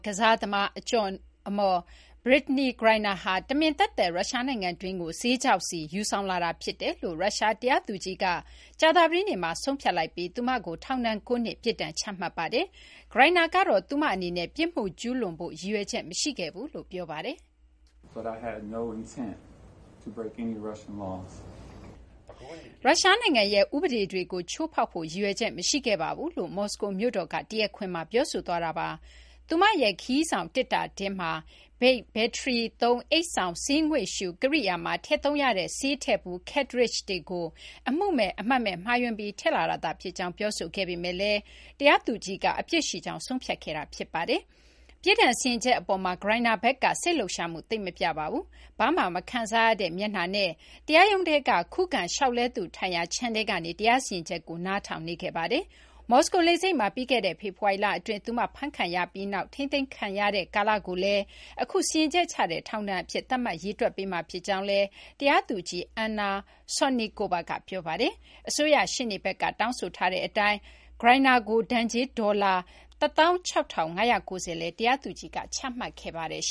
ကစားသမား အကျော်အမော် Brittney Griner ဟာ တမင်သက်သက် ရုရှား နိုင်ငံတွင်းကို ဆေးခြောက်ဆီ ယူဆောင်လာတာဖြစ်တယ်လို့ ရုရှား တရားသူကြီးက ကြာသပတေးနေ့မှာ ဆုံးဖြတ်ပြီး သူမကို ထောင်ဒဏ် ၉ နှစ် ပြစ်ဒဏ် ချမှတ်လိုက်ပါတယ်။ Griner ကတော့ သူမ အနေနဲ့ ပြစ်မှု ကျူးလွန်ဖို့ ရည်ရွယ်ချက် မရှိခဲ့ကြောင်း ပြောပါတယ်။ "ရုရှားနိုင်ငံရဲ့ ဥပဒေတွေကို ချိုးဖောက်ဖို့ ရည်ရွယ်ချက် မရှိခဲ့ပါဘူး။" လို့ မော်စကိုမြို့တော်က တရားခွင်မှာ ပြောဆိုသွားတာပါ။ သူမရဲ့ ခရီးဆောင် သေတ္တာထဲမှာ Vape ဘက်ထရီသုံး အိတ်ဆောင်ဆေးငွေ့ရှု ကရိယာမှာ ထည့်သုံးရတဲ့ ဆေးထည့်ဘူး cartridge တွေကို အမှုမဲ့ အမှတ်မဲ့ မှားယွင်းပြီး ထည့်လာတာသာ ဖြစ်ကြောင်း ပြောဆိုခဲ့ပေမယ့်လည်း တရားသူကြီးက အပြစ်ရှိကြောင်း ဆုံးဖြတ်ခဲ့တာ ဖြစ်ပါတယ်။ ပြစ်ဒဏ် စီရင်ချက် အပေါ်မှာ Griner ဘက်က စိတ်လှုပ်ရှားမှု သိပ် မပြပါဘူး။ ဘာမှ မခံစားရတဲ့ မျက်နှာနဲ့ တရားရုံးထဲက ခုခံလျှောက်လဲသူ ထိုင်ရာ ခြံထဲကနေ တရားစီရင်ချက်ကို နားထောင်နေခဲ့ပါတယ်။ မော်စကို လေဆိပ်မှာ ပြီးခဲ့တဲ့ ဖေဖော်ဝါရီလ အတွင်း သူမ ဖမ်းခံရပြီးနောက် ထိန်းသိမ်းခံရတဲ့ ကာလကိုလည်း အခု စီရင်ချက် ချတဲ့ ထောင်ဒဏ်အဖြစ် သတ်မှတ် ရေတွက်ပေးမှာ ဖြစ်ကြောင်းလည်း တရားသူကြီး Anna Sotnikova က ပြောပါတယ်။ အစိုးရ ရှေ့နေဘက်က တောင်းဆိုထားတဲ့ အတိုင်း Griner ကို ဒဏ်ကြေး ဒေါ်လာ ၁၆,၅၉၀ လည်း တရားသူကြီးက ချမှတ်ခဲ့ပါတယ်။